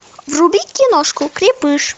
вруби киношку крепыш